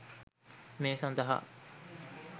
මේ සඳහා